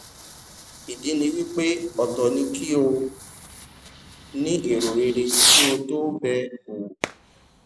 ìdí ni wípé ọtọ ni kí o ní èro rere kí a tó bẹ owò